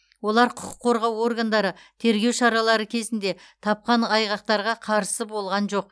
олар құқық қорғау органдары тергеу шаралары кезінде тапқан айқақтарға қарысы болған жоқ